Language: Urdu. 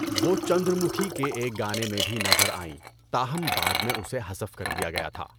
وہ 'چندر مکھی' کے ایک گانے میں بھی نظر آئیں، تاہم بعد میں اسے حذف کر دیا گیا تھا۔